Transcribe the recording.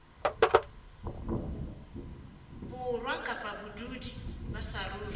borwa kapa badudi ba saruri